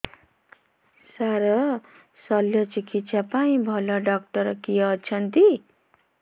ସାର ଶଲ୍ୟଚିକିତ୍ସା ପାଇଁ ଭଲ ଡକ୍ଟର କିଏ ଅଛନ୍ତି